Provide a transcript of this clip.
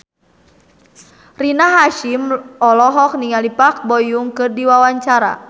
Rina Hasyim olohok ningali Park Bo Yung keur diwawancara